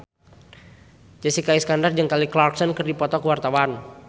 Jessica Iskandar jeung Kelly Clarkson keur dipoto ku wartawan